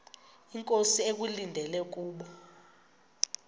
inkosi ekulindele kubo